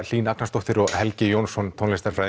Hlín Agnarsdóttir og Helgi Jónsson